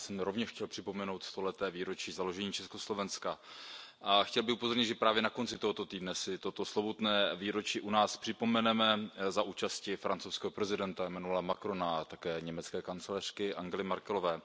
Já jsem rovněž chtěl připomenout stoleté výročí založení Československa. Chtěl bych upozornit, že právě na konci tohoto týdne si toto slovutné výročí u nás připomeneme za účasti francouzského prezidenta Emmanuela Macrona a také německé kancléřky Angely Merkelové.